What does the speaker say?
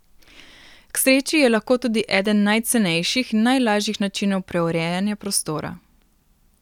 K sreči je lahko tudi eden najcenejših in najlažjih načinov preurejanja prostora.